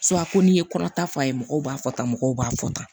ko n'i ye kɔnɔ ta fɔ a ye mɔgɔw b'a fɔ tan mɔgɔw b'a fɔ tan